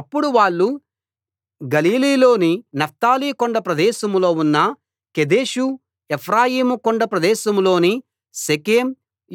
అప్పుడు వాళ్ళు గలిలీలోని నఫ్తాలి కొండ ప్రదేశంలో ఉన్న కెదెషు ఎఫ్రాయిం కొండ ప్రదేశంలోని షెకెం